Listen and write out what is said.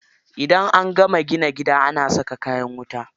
Idan an gama ginin gida ana saka kayan wuta.